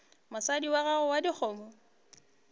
mosadi wa gago wa dikgomo